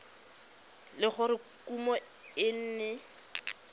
le gore kumo e ne